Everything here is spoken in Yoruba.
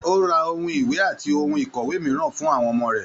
O ra àwọn ìwé àti ohùn ikọwe mìíràn fún àwọn ọmọ rẹ.